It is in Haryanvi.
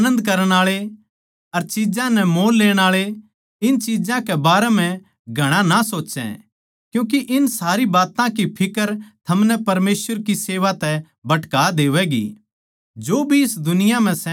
रोण आळे आनन्द करण आळे अर चिज्जां नै मोल लेण आळे इन चिज्जां के बारें म्ह घणा ना सोच्चै क्यूँके ये सारी बात्तां की फिक्र थमनै परमेसवर की सेवा तै भटका देंगे